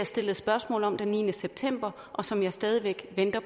stillet spørgsmål om den niende september og som jeg stadig væk venter